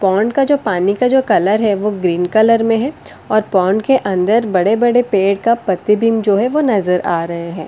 Pond का जो पानी का जो कलर है वो ग्रीन कलर में है और पोंड के अंदर बड़े-बड़े पेड़ का पतिबीम जो है वो नजर आ रहे हैं।